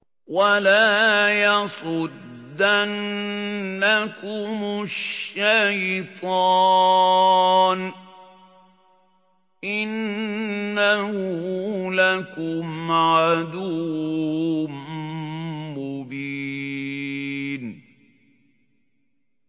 وَلَا يَصُدَّنَّكُمُ الشَّيْطَانُ ۖ إِنَّهُ لَكُمْ عَدُوٌّ مُّبِينٌ